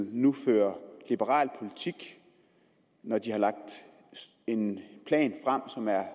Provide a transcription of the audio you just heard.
nu fører liberal politik når de har lagt en plan frem